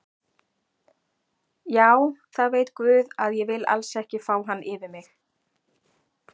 Já það veit guð að ég vil alls ekki fá hann yfir mig.